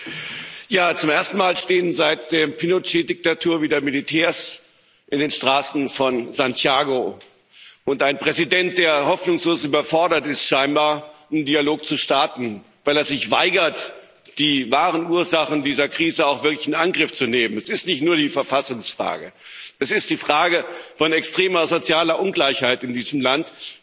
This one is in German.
Frau Präsidentin! Zum ersten Mal seit der Pinochet Diktatur stehen wieder Militärs in den Straßen von Santiago, und der Präsident ist scheinbar hoffnungslos überfordert, einen Dialog zu starten, weil er sich weigert, die wahren Ursachen dieser Krise auch wirklich in Angriff zu nehmen. Es ist nicht nur die Verfassungsfrage, es ist die Frage von extremer sozialer Ungleichheit in diesem Land.